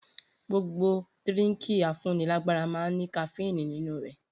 Gbogbo dirínkì à fún ní làgbàrà mà ń ní kàfinú ninu rẹ